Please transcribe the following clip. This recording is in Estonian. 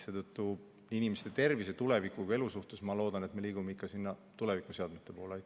Seetõttu ma loodan, et inimese tervise huvides me liigume ikka tulevikuseadmete poole.